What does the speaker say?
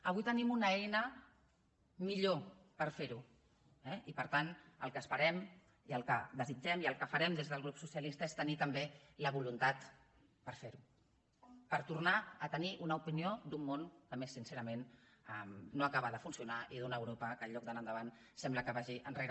avui tenim una eina millor per fer ho eh i per tant el que esperem i el que desitgem i el que farem des del grup socialista és tenir també la voluntat per fer ho per tornar a tenir una opinió d’un món que a més sincerament no acaba de funcionar i d’una europa que en lloc d’anar endavant sembla que vagi enrere